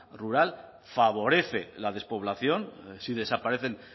rural favorece la despoblación si desaparecen